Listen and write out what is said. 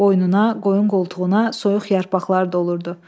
Boynuna, qoyun qoltuğuna soyuq yarpaqlar dolurdu.